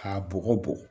A bɔgɔ bɔn